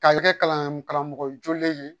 Ka kɛ kalan karamɔgɔ jolen ye